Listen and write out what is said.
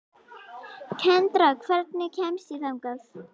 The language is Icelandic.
Kendra, hvernig kemst ég þangað?